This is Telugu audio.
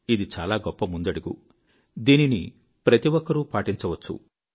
ఇది చాలా గొప్ప ముందడుగు దీనిని ప్రతి ఒక్కరూ పాటించవచ్చు